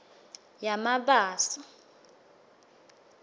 yamabaso